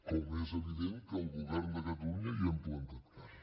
com és evident que el govern de catalunya hi hem plantat cara